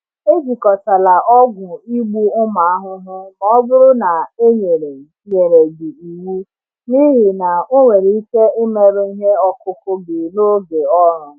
Ejikọtala ọgwụ igbu ụmụ ahụhụ ma ọ bụrụ na e nyere nyere gị iwu, n’ihi na ọ nwere ike imerụ ihe ọkụkụ gị n’oge ọrụ.